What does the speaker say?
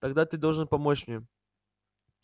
тогда ты должен помочь мне